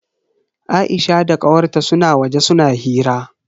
Aisha da kawar ta suna waje suna hira.